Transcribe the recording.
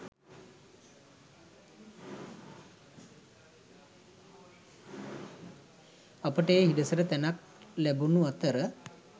අපට ඒ හිඩැසට තැනක් ලැබුනු අතර